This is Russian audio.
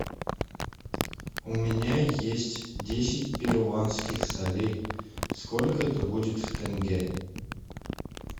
у меня есть десять перуанских солей сколько это будет в тенге